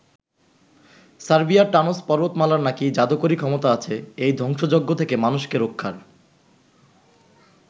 সার্বিয়ার টানজ পর্বতমালার নাকি যাদুকরি ক্ষমতা আছে এই ধ্বংসযজ্ঞ থেকে মানুষকে রক্ষার।